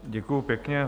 Děkuji pěkně.